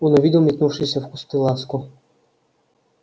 он увидел метнувшуюся в кусты ласку